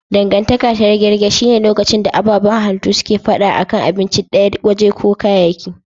Dangantaka ta riganganto shi ne lokacin da ababan halittu suke fada a kan abinci daya, waje ko kayayyaki.